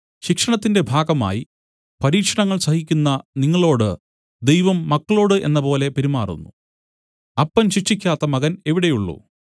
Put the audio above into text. ശിക്ഷണത്തിന്റെ ഭാഗമായി പരീക്ഷണങ്ങൾ സഹിക്കുന്ന നിങ്ങളോടു ദൈവം മക്കളോടു എന്നപോലെ പെരുമാറുന്നു അപ്പൻ ശിക്ഷിക്കാത്ത മകൻ എവിടെയുള്ളു